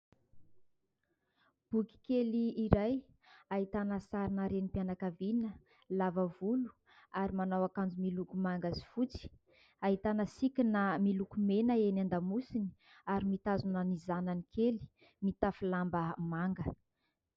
Boky kely iray ahitana sarina renim-pianakaviana lava volo ary manao akanjo miloko manga sy fotsy. Ahitana sikina miloko mena eny an-damosiny ary mitazona ny zanany kely mitafy lamba manga.